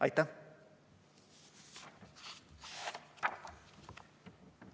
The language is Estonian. Aitäh!